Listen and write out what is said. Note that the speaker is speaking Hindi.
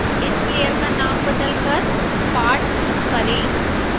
इस लेयर का नाम बदलकर part2 करें